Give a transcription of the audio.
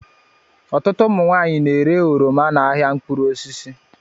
Ọtụtụ ụmụ nwaanyị na-ere oroma n'ahịa mkpụrụ osisi